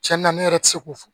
Cɛn na ne yɛrɛ ti se k'o fɔ